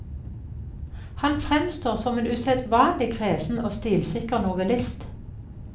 Han fremstår som en usedvanlig kresen og stilsikker novellist.